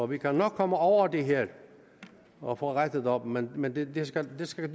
vi kan nok komme over det her og få rettet op men men det skal skal